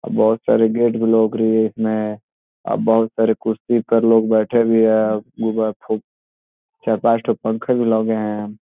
बोहत सारे गेट भी लोगरी है इसमें और बोहुत सारे कुर्सी पर लोग बैठे हुए हैं। गुब्बा फु चार पांच ठो पंखा भी लगे हैं।